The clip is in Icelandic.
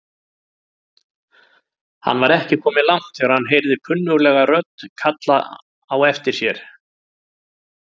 Hann var ekki kominn langt þegar hann heyrði kunnuglega rödd kalla á aftir honum.